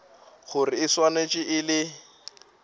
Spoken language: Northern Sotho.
gore e swanetše e le